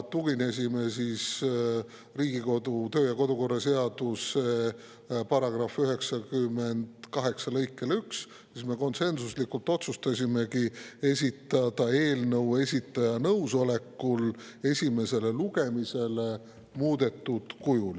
Tuginedes Riigikogu kodu- ja töökorra seaduse § 98 lõikele 1, me konsensuslikult otsustasimegi esitada eelnõu esitaja nõusolekul esimesele lugemisele muudetud kujul.